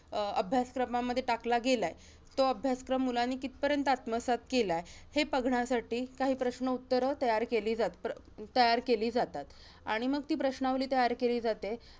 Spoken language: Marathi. अं अभ्यासक्रमामध्ये टाकला गेलाय, तो अभ्यासक्रम मुलांनी कितपर्यंत आत्मसात केलाय, हे बघण्यासाठी काही प्रश्न उत्तरं तयार केली जात प्र~ तयार केली जातात. आणि मग ती प्रश्नावली तयार केली जाते.